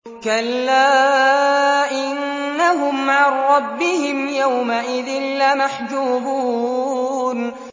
كَلَّا إِنَّهُمْ عَن رَّبِّهِمْ يَوْمَئِذٍ لَّمَحْجُوبُونَ